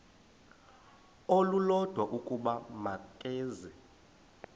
olulodwa ukuba makeze